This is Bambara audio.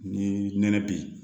Ni nɛnɛ bi